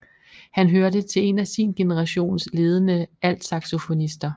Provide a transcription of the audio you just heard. Han hørte til en af sin generations ledende altsaxofonister